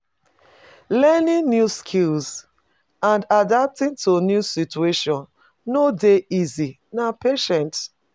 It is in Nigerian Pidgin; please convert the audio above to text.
Learning new skills and adapting to new situation no dey easy, na patient.